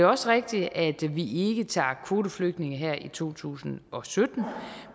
også rigtigt at vi ikke tager kvoteflygtninge her i to tusind og sytten